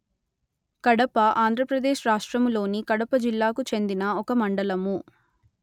కడప ఆంధ్ర ప్రదేశ్ రాష్ట్రములోని కడప జిల్లాకు చెందిన ఒక మండలము